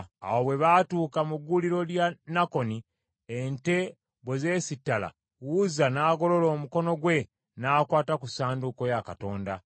Awo bwe baatuuka mu gguuliro lya Nakoni, ente bwe zeesittala, Uzza n’agolola omukono gwe n’akwata ku ssanduuko ya Katonda.